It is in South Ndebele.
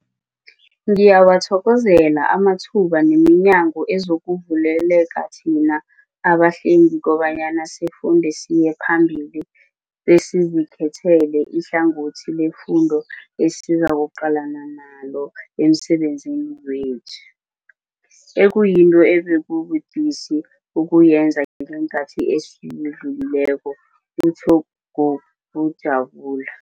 Ngiyawathokozela amathuba neminyango ezokuvulekela thina abahlengi kobanyana sifunde siye phambili besizikhethele ihlangothi leemfundo esizakuqalana nalo emsebenzini wethu, ekuyinto ebekubudisi ukuyenza ngeenkhathi ezidlulileko, utjho ngokujabula.